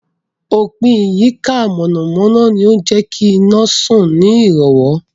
Òpìn ìyíká iná mọ̀nàmọ̀nà ni ó ń jẹ́kí iná sàn ní ìrọ̀wọ́